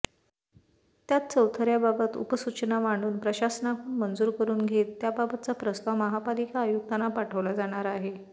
त्यात चौथऱ्याबाबत उपसूचना मांडून प्रशासनाकडून मंजूर करून घेत त्याबाबतचा प्रस्ताव महापालिका आयुक्तांना पाठवला जाणार आहे